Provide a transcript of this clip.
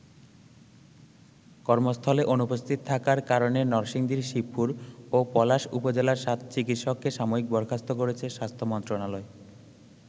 কর্মস্থলে অনুপস্থিত থাকার কারণে নরসিংদীর শিবপুর ও পলাশ উপজেলার সাত চিকিৎসককে সাময়িক বরখাস্ত করেছে স্বাস্থ্য মন্ত্রণালয়।